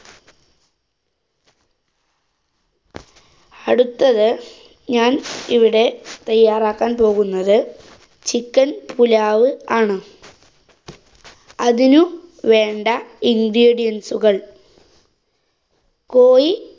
അടുത്തത് ഞാന്‍ ഇവിടെ തയ്യാറാക്കാന്‍ പോകുന്നത് chicken പുലാവ് ആണ്. അതിന് വേണ്ട ingredients കള്‍. കോഴി